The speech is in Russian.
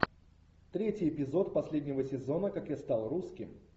третий эпизод последнего сезона как я стал русским